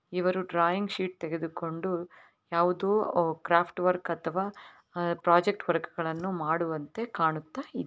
ಇವರು drawing sheet ತೆಗೆದುಕೊಂಡು ಯಾವುದೋ ಕ್ರಾಫ್ಟ್ ವರ್ಕ್ ಅಥವಾ ಪ್ರಾಜೆಕ್ಟ್ ವರ್ಕ್ ಗಳನ್ನು ಮಾಡುವಂತೆ ಕಾಣುತ್ತಾ ಇದ್ದಾ--